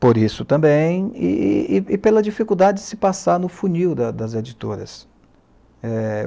por isso também, e e e pela dificuldade de se passar no funil da das editoras. É...